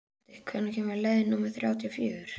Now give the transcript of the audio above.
Holti, hvenær kemur leið númer þrjátíu og fjögur?